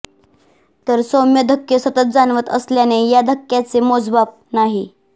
तर सौम्य धक्के सतत जाणवत असल्याने या धक्क्यांचे मोजमाप नाही